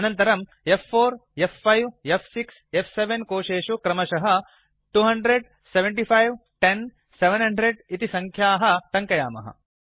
अनन्तरं f4f5f6फ्7 कोशेषु क्रमशः 2007510 700 इति संख्याः टङ्कयामः